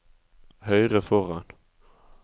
høyre foran